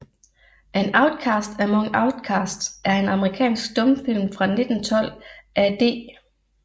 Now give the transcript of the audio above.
An Outcast Among Outcasts er en amerikansk stumfilm fra 1912 af D